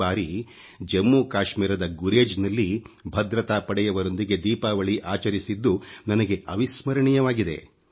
ಈ ಬಾರಿ ಜಮ್ಮು ಕಾಶಮೀರದ ಗುರೇಜ್ ನಲ್ಲಿ ಭದ್ರತಾ ಪಡೆಯವರೊಂದಿಗೆ ದೀಪಾವಳಿ ಆಚರಿಸಿದ್ದು ನನಗೆ ಅವಿಸ್ಮರಣೀಯವಾಗಿದೆ